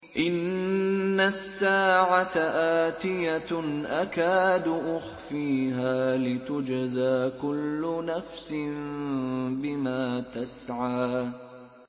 إِنَّ السَّاعَةَ آتِيَةٌ أَكَادُ أُخْفِيهَا لِتُجْزَىٰ كُلُّ نَفْسٍ بِمَا تَسْعَىٰ